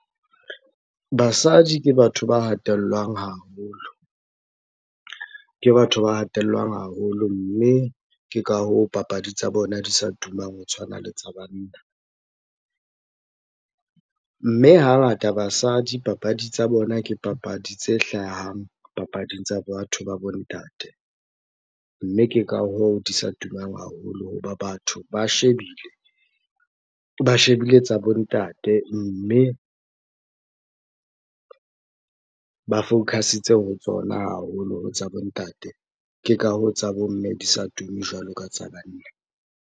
Basadi ke batho ba hatellwang haholo. Ke batho ba hatellwang haholo, mme ke ka hoo papadi tsa bona di sa tumang ho tshwana le tsa banna. Mme hangata basadi, papadi tsa bona ke papadi tse hlahang papading tsa batho ba bo ntate. Mme ke ka hoo di sa tumang haholo hoba batho ba shebile. Ba shebile tsa bo ntate, mme ba focus-itse ho tsona haholo ho tsa bo ntate. Ke ka hoo tsa bo mme di sa tuma jwalo ka tsa banna.